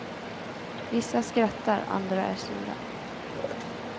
Vissa skrattar, andra är sura.